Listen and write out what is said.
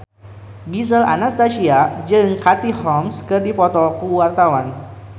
Gisel Anastasia jeung Katie Holmes keur dipoto ku wartawan